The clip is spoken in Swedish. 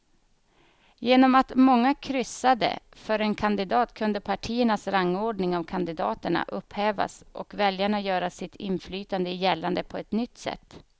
Genom att många kryssade för en kandidat kunde partiernas rangordning av kandidaterna upphävas och väljarna göra sitt inflytande gällande på ett nytt sätt.